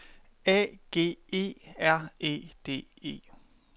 A G E R E D E